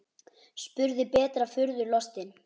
spurði Berta furðu lostin.